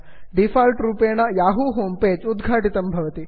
default रूपेण Yahoo home page उद्घाटितं भवति